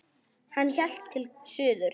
Hann hélt til suðurs.